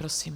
Prosím.